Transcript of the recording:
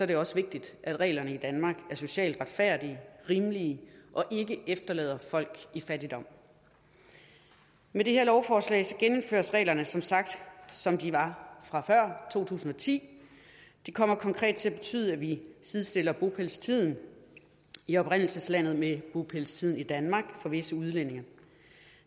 det også vigtigt at reglerne i danmark er socialt retfærdige rimelige og ikke efterlader folk i fattigdom med det her lovforslag genindføres reglerne som sagt som de var før to tusind og ti det kommer konkret til at betyde at vi sidestiller bopælstiden i oprindelseslandet med bopælstiden i danmark for visse udlændinge